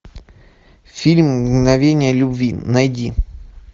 фильм мгновения любви найди